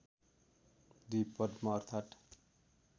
२ पद्म अर्थात्